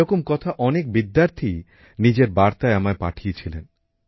এরকম কথা অনেক বিদ্যার্থীই নিজেদের বার্তায় আমায় পাঠিয়েছিলেন